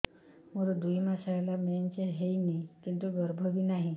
ମୋର ଦୁଇ ମାସ ହେଲା ମେନ୍ସ ହେଇନି କିନ୍ତୁ ଗର୍ଭ ବି ନାହିଁ